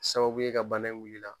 Sababu ye ka bana in wul'i la